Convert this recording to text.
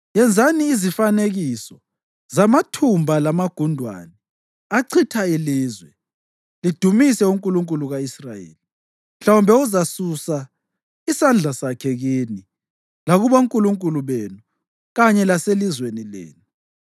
Yenzani izifanekiso zamathumba lamagundwane achitha ilizwe, lidumise unkulunkulu ka-Israyeli. Mhlawumbe uzasusa isandla sakhe kini lakubonkulunkulu benu kanye laselizweni lenu.